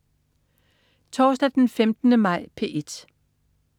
Torsdag den 15. maj - P1: